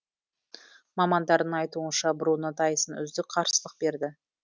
мамандардың айтуынша бруно тайсон үздік қарсылық берді